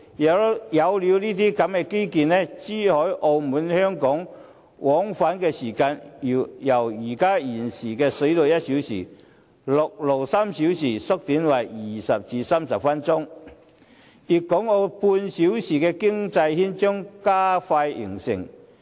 一旦落實這些基建，珠海和澳門往返香港的時間，將由現時水路1小時、陸路3小時縮小為20至30分鐘，粵港澳半小時的經濟圈將加快形成。